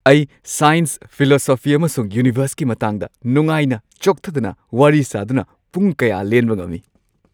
ꯑꯩ science, philosophy, ꯑꯃꯁꯨꯡ ꯌꯨꯅꯤꯚꯔꯁꯀꯤ ꯃꯇꯥꯡꯗ ꯅꯨꯡꯉꯥꯏꯅ ꯆꯣꯛꯊꯗꯅ ꯋꯥꯔꯤ ꯁꯥꯗꯨꯅ ꯄꯨꯡ ꯀꯌꯥ ꯂꯦꯟꯕ ꯉꯝꯃꯤ꯫